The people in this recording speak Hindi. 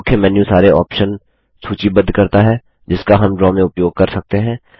मुख्य मेन्यू सारे आप्शन सूचीबद्ध करता है जिसका हम ड्रा में उपयोग कर सकते हैं